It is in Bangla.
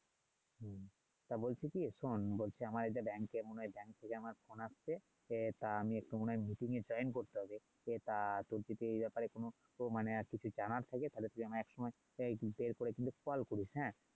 হ্যাঁ বলছি কি শোন বলছি আমার কোন একটা এর ফোন আসছে সে তার এ করতে হবে সে তা বলছি কি এ ব্যাপারে কোন কিছু মানে জানার থাকে তাইলে তুই আমাকে এক সময় এর আইডি তে করিস হ্যাঁ